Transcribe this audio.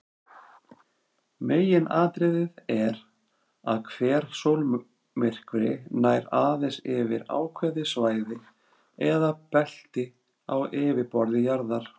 Meginatriðið er að hver sólmyrkvi nær aðeins yfir ákveðið svæði eða belti á yfirborði jarðar.